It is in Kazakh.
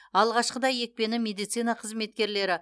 алғашқыда екпені медицина қызметкерлері